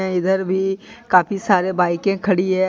इधर भी काफी सारे बाईकें खड़ी है।